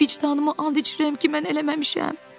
Vicdanımı and içirəm ki, mən eləməmişəm.